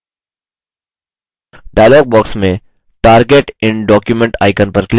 dialog box में target in document icon पर click करें